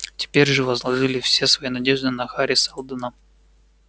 теперь же возложили все свои надежды на хари сэлдона